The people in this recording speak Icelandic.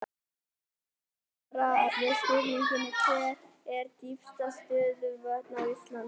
Í svari við spurningunni Hver eru dýpstu stöðuvötn á Íslandi?